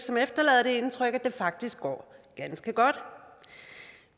som efterlader det indtryk at det faktisk går ganske godt